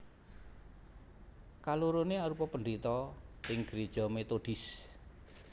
Kaloroné arupa pendhéta ing gréja metodis